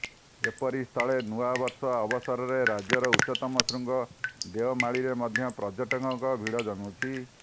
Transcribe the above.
ଏପରିସ୍ଥଳରେ ନୂଆବର୍ଷ ଅବସରରେ ରାଜ୍ୟର ଉଚ୍ଚତମ ଶୃଙ୍ଗ ଦେଓମାଳିରେ ମଧ୍ୟ ପର୍ଯ୍ୟଟକଙ୍କ ଭିଡ଼ ଜମୁଛି